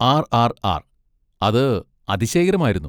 RRR., അത് അതിശയകരമായിരുന്നു.